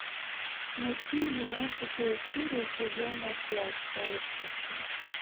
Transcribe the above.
найти двенадцатую серию сезона пять сообщество